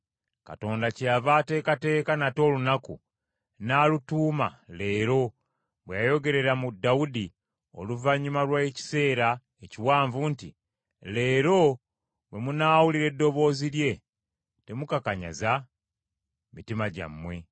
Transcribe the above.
Katonda kyeyava ateekateeka nate olunaku, n’alutuuma leero, bwe yayogerera mu Dawudi, oluvannyuma lw’ekiseera ekiwanvu nti, “Leero bwe munaawulira eddoboozi lye, Temukakanyaza mitima gyammwe.